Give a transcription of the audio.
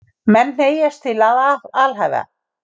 Menn hneigjast til að alhæfa.